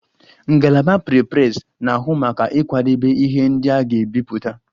Ngalaba Prepress na-ahụ maka ịkwadebe ihe ndị a ga-ebipụta